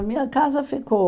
A minha casa ficou.